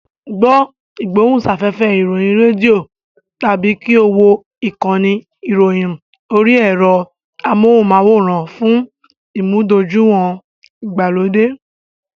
Gbọ́ ìgbóhùnsáfẹ́fẹ́ ìròyìn rédíò tàbí kí o wo ìkànnì ìròyìn orí ẹ̀rọ amóhùnmáwòrán fún ìmúdójúìwọ̀n ìgbàlódé.